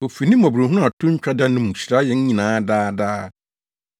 Ofi ne mmɔborɔhunu a to ntwa da no mu hyira yɛn nyinaa daa daa.